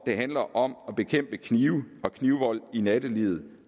det handler om at bekæmpe knive og knivvold i nattelivet